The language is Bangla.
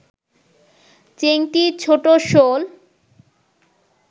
চেংটি, ছোট শোল